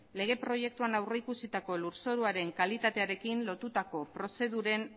lege proiektuan aurrikusitako lurzoruaren kalitatearekin lotutako prozeduren